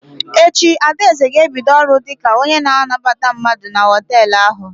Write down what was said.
Echi, Adaeze ga-ebido ọrụ dị ka onye na anabata mmadụ na họtelụ ahụ.